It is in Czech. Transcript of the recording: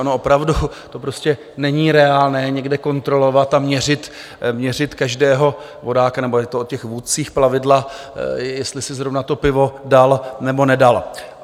Ono opravdu to prostě není reálné, někde kontrolovat a měřit každého vodáka, nebo je to o těch vůdcích plavidla, jestli si zrovna to pivo dal, nebo nedal.